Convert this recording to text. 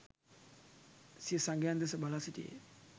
සිය සගයන් දෙස බලා සිටියේය